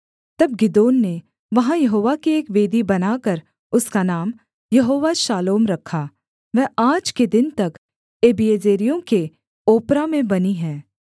तब गिदोन ने वहाँ यहोवा की एक वेदी बनाकर उसका नाम यहोवा शालोम रखा वह आज के दिन तक अबीएजेरियों के ओप्रा में बनी है